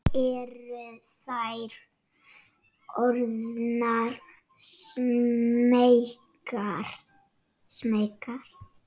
Eru þær orðnar smeykar?